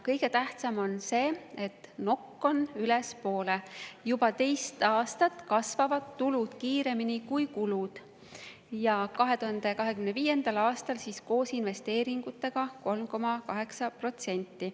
Kõige tähtsam on see, et nokk on ülespoole: juba teist aastat kasvavad tulud kiiremini kui kulud, 2025. aastal koos investeeringutega 3,8%.